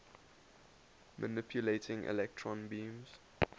manipulating electron beams